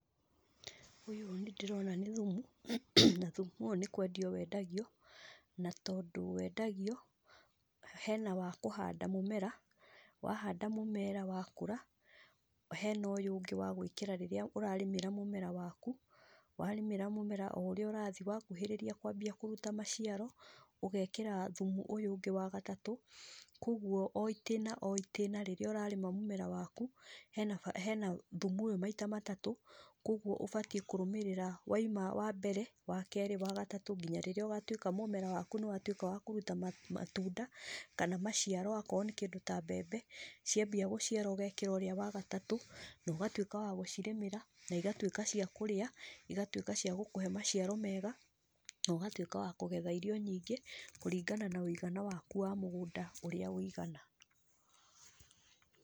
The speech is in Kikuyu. Ũyũ nĩndĩrona nĩ thumu, na thumu ũyũ nĩndĩrona nĩkwendio wendagio, na tondũ wendagio, hena wa kũhanda mũmera, wahanda mũmera wakũra, hena ũýu ũngĩ wa gwĩkĩra rĩrĩa ũrarĩmĩra mũmera waku, warĩmĩra mũmera oũrĩa ũrathi, wakuhĩrĩria kwambia kũruta maciaro, ũgekĩra thumu ũyũ ũngĩ wa gatatũ, koguo o itĩna o itĩna rĩ, nĩũrarĩma mũmera waku, hena ba thumu ũyũ maita matatũ, koguo ũbatiĩ kũrũmĩrĩra waima wambere, wakerĩ, wa gatatũ nginya rĩrĩa ũgatwĩka mũmera waku nĩwatwĩka wa kũruta ma matunda, kana maciaro akorwo nĩ kĩndũ ta mbembe, ciambia gũciara ũgekĩra ũrĩa wa gatatũ, nogatwĩka wa gũcirĩmĩra, naigatwĩka cia kũrĩa, igatwĩka cia gũkũhe maciaro mega, nogatwĩka wa kũgetha irio nyingĩ, kũringana na mũigana waku wa mũgũnda ũrĩa wũigana.